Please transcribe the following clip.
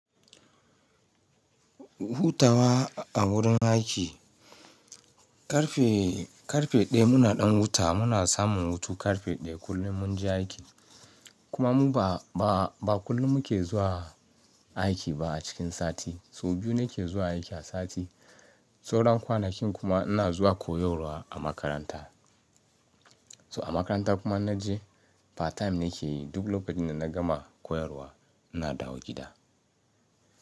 Hutawa a wurin aiki. Karfe, karfe ɗaya muna ɗan huta. Muna samun hutu karfe ɗaya kullum mun je aiki. Kuma mu ba, ba kullum muke zuwa aiki ba a cikin sati. So biyu nake zuwa aiki a sati. Sauran kwanakin kuma ina zuwa koyarwa a makaranta. To a makaranta kuma in na je part time nake yi. Duk lokacin da na gama koyarwa ina dawo gida.